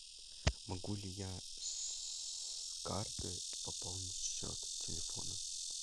могу ли я с карты пополнить счет телефона